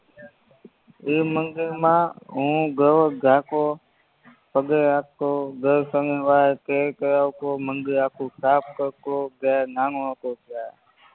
ઇ મંદિરમાં હું દરોજ જાતો પગે લાગતો દર સનિવારે તેલ ચડાવતો મંદિર આખું સાફ કરતો જયારે નાનો હતો ત્યારે